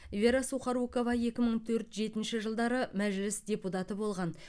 вера сухорукова екі мың төрт жетінші жылдары мәжіліс депутаты болған